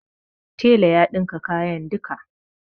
Tela ya ɗinka kayan duka.